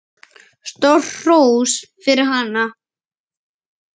Stórt hrós fyrir hana.